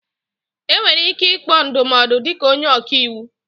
Enwere ike ịkpọ ndụmọdụ dịka onye ọka iwu